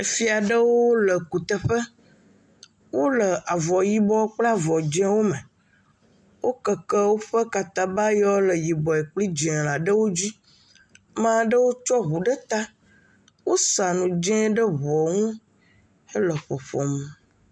Efia ɖewo le kuteƒe, wole avɔ yibɔ kple avɔ dzeŋ wo me, wo keke woƒe katabayɔe wo le yibɔe kple dzeŋ la ɖewo dzi, amaɖewo tsɔ ʋu ɖe ta, wo sa nu dzeŋ ɖe ʋuɔ ŋu he le ƒoƒom.